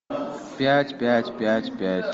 пять пять пять пять